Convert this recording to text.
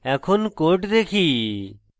এখন code দেখি